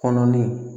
Kɔnɔ ni